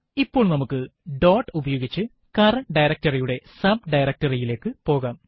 ഇപ്പോൾ നമുക്ക് ഡോട്ട് ഉപയോഗിച്ച് കറന്റ് directory യുടെ subdirectory യിലേക്ക് പോകാം